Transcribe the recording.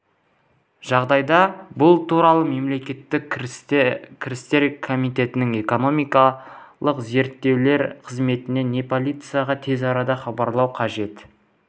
жағдайда бұл туралы мемлекеттік кірістер комитетінің экономикалық зерттеулер қызметіне не полицияға тез арада хабарлау қажет